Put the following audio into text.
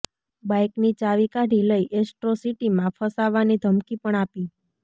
બાઇકની ચાવી કાઢી લઇ એટ્રોસિટીમાં ફસાવાની ધમકી પણ આપી